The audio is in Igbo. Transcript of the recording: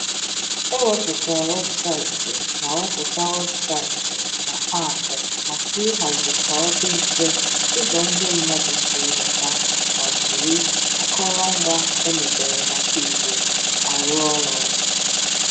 E wepụ̀tà websàìtì na wepụ̀tà websàìtì na àapù maka ịhàzì ka ọ̀ dị mfe ụzọ ndị mmadụ si enweta ma jiri àkọ̀rọ̀ngwà e mèbèrè maka Igbo àrụ̀ àrụ̀.